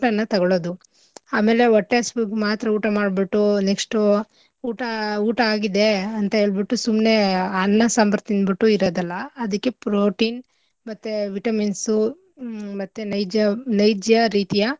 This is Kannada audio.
ತೊಗೊಳೊದು ಆಮೇಲೆ ಒಟ್ಟೆ ಹಶ್ವುಗ್ ಮಾತ್ರ ಊಟ ಮಾಡ್ಬುಟ್ಟು next ಉ ಊಟ ಊಟ ಆಗಿದೆ ಅಂತ ಹೇಳ್ಬುಟ್ಟು ಸುಮ್ನೆ ಅನ್ನ ಸಾಂಬಾರ್ ತಿಂದ್ಬುಟ್ಟು ಇರದಲ್ಲ. ಅದಿಕ್ಕೆ protein ಮತ್ತೇ vitamins ಉ ಮತ್ತೇ ನೈಜ~ ನೈಜ್ಯ ರೀತಿಯ.